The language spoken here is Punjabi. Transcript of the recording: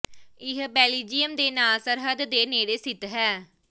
ਇਹ ਬੈਲਜੀਅਮ ਦੇ ਨਾਲ ਸਰਹੱਦ ਦੇ ਨੇੜੇ ਸਥਿਤ ਹੈ